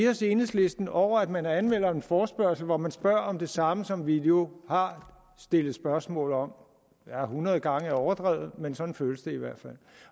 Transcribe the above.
os i enhedslisten over at man anmelder en forespørgsel hvor man spørger om det samme som vi jo har stillet spørgsmål om ja hundrede gange er overdrevet men sådan føles det i hvert fald